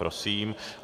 Prosím.